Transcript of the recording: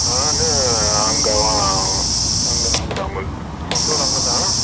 நானு அங்கேதா அந்த ஊருதா, சொந்த ஊரு அங்கதா